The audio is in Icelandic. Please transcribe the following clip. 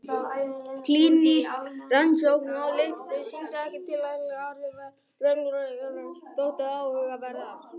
Klínísk rannsókn á lyfinu sýndi ekki tilætluð áhrif en aukaverkanirnar þóttu áhugaverðar.